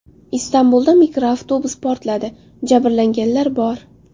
Istanbulda mikroavtobus portladi, jabrlanganlar bor.